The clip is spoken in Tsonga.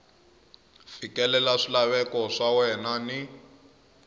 fikelela swilaveko swa wena ni